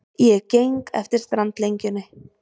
Ég geng eftir strandlengjunni.